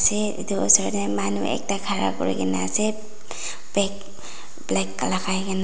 Eteh etu osor dae manu ekta khara kurikena ase bag black lagai kena.